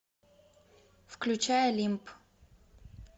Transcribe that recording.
включай олимп